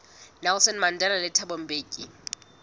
nelson mandela le thabo mbeki